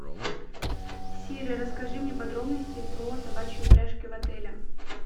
сири расскажи мне подробности про собачьи упряжки в отеле